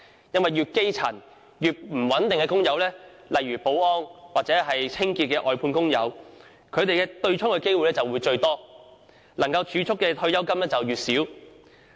越基層、工作越不穩定的工友，例如保安或清潔外判工友，他們被對沖的機會最多，能夠儲蓄的退休金亦較少。